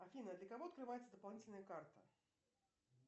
афина для кого открывается дополнительная карта